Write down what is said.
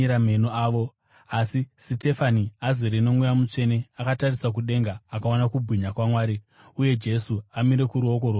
Asi Sitefani, azere noMweya Mutsvene, akatarisa kudenga akaona kubwinya kwaMwari, uye Jesu amire kuruoko rworudyi rwaMwari.